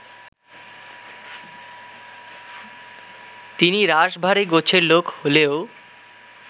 তিনি রাশভারী গোছের লোক হলেও